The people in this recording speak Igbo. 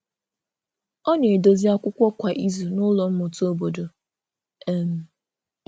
Ọ na-edòzì akwụkwọ̀ kwa izù n’ụlọ mmụta obodo. um